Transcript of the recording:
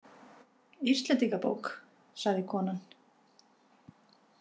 Íslendingabók, sagði konan.